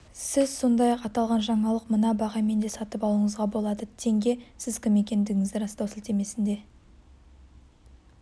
сіз сондай-ақ аталған жаңалықты мына бағамен де сатып алуыңызға болады тенге сіз кім екендігіңізді растау сілтемесіне